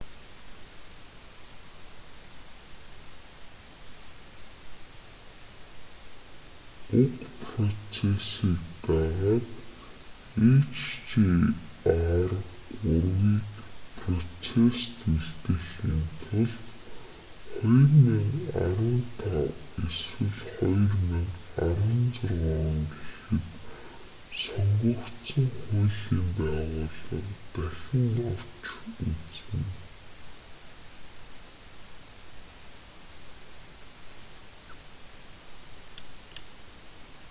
уг процессыг дагаад hjr-3-ийг процессод үлдээхийн тулд 2015 эсвэл 2016 гэхэд сонгогдсон хуулийн байгууллага дахин авч үзнэ